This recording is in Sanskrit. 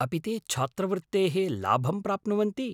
अपि ते छात्रवृत्तेः लाभं प्राप्नुवन्ति?